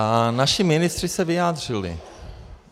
A naši ministři se vyjádřili.